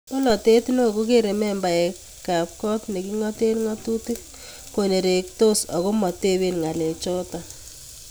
Cholatet neo kekere membaekab kot ne kingoten ngatutik konertos ako matoben ngalechoto